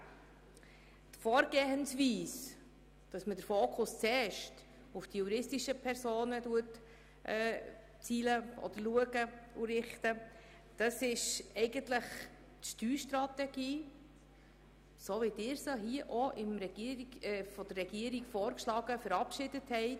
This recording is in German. Die Vorgehensweise, den Fokus zuerst auf die juristischen Personen zu richten, entspricht eigentlich der Steuerstrategie, die von der Regierung vorgeschlagen und von Ihnen verabschiedet wurde.